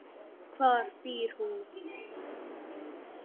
Hvar býr hún?